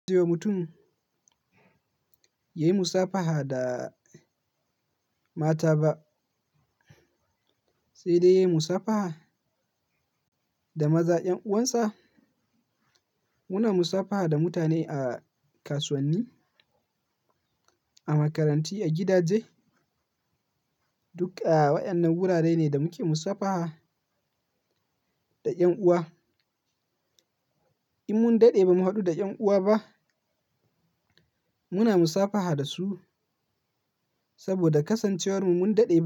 Yo mutum ya yi musafaha da mata ba, sai dai ya yi musafaha da maza, ƴan uwansa. Muna musafaha da mutane a kasuwanni, a makarantu, a gidaje. Duk a waƴannan wurare ne da muke musafaha da ƴan uwa. In mun daɗe ba mu haɗu da ƴan uwa ba, muna musafaha da su saboda kasancewarmu mun daɗe ba mu haɗu da su ba.